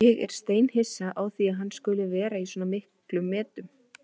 Ég er steinhissa á því að hann skuli vera í svona miklum metum.